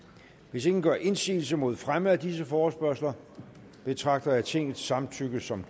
hvis ingen gør indsigelse mod fremme af disse forespørgsler betragter jeg tingets samtykke som